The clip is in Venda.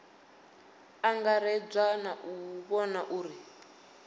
angaredzwa na u vhona uri